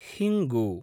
हिङ्गु